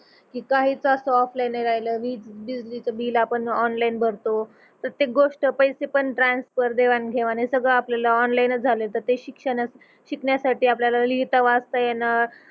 की काहीच असं ओफलायीन नाही राहील बिल आपण ओनलायीन भरतो प्रत्येक गोष्ट पैसे पण ट्रान्सफर देवाणघेवाण हे सगळ आपल्याला ओनलायीन च झालं तर ते शिक्षणच शिकण्यासाठी आपल्याला लिहिता वाचता येणं